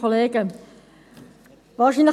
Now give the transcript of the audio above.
Kommissionssprecherin der FiKo.